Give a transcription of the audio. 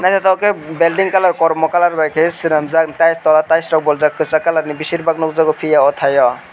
nythoktoke building kalar kormo kaiei swnamjak tei tola ties rok bo reejak kchak kalar ni beserbak nugjago fia o thaio.